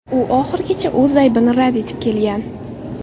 U oxirigacha o‘z aybini rad etib kelgan.